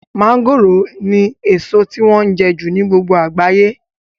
mọ́ngòròni èso tí wọ́n jẹ jù ní gbogbo àgbáyé